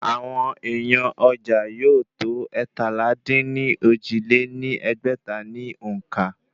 Àwọn èèyàn ọjà yóò tó eétalá-dín-ní-ojì lé ní ẹgbẹ́ta ní òǹkà